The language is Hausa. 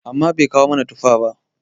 amma Bai kawo mana tuffa ba?